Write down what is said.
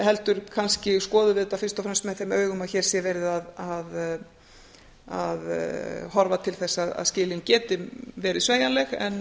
heldur kannski skoðum við þetta fyrst og fremst með þeim augum að hér sé verið að horfa til þess að skilin geti verið